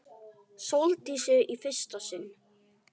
Sóldísi í fyrsta sinn.